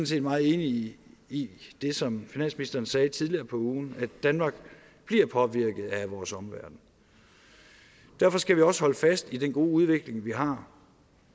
set meget enig i det som finansministeren sagde tidligere på ugen at danmark bliver påvirket af vores omverden derfor skal vi også holde fast i den gode udvikling vi har